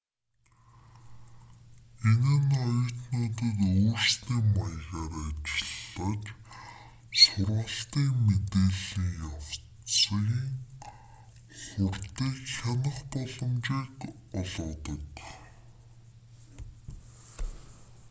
энэ нь оюутнуудад өөрсдийн маягаар ажиллаж сургалтын мэдээллийн явц хурдыг хянах боломжийг олгодог